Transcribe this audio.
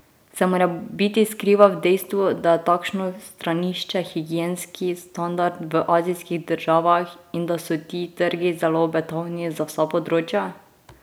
Se morebiti skriva v dejstvu, da je takšno stranišče higienski standard v azijskih državah in da so ti trgi zelo obetavni za vsa področja?